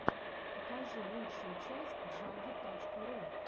покажи лучшую часть джаги точка ру